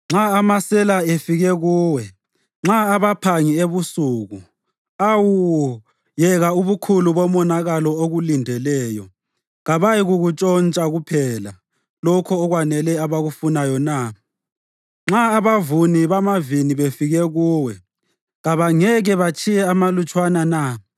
“Nxa amasela efike kuwe, nxa abaphangi ebusuku, Awu, yeka ubukhulu bomonakalo okulindeleyo, kabayikuntshontsha kuphela lokho okwanele abakufunayo na? Nxa abavuni bamavini befike kuwe, kabangeke batshiye amalutshwana na?